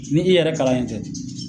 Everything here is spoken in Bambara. Ni i yɛrɛ kalannen tɛ.